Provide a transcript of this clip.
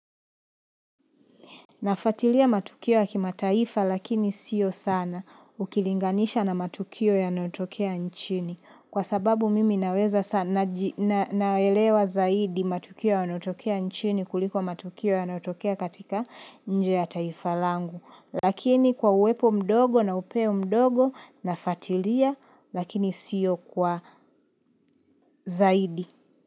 Nafuatilia matukio ya kima taifa lakini sio sana ukilinganisha na matukio yanayotokea nchini kwa sababu mimi naweza sa naji na naelewa zaidi matukio yanayotokea nchini kuliko matukio yanayotokea katika nje ya taifa langu. Lakini kwa uwepo mdogo na upeo mdogo nafuatilia lakini sio kwa zaidi.